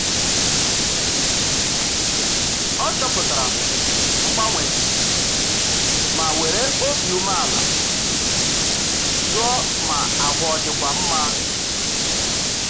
Ọ chọpụtara mgbanwe dị ma were obi umeala jụọ ma ahụ ọ dịkwa mma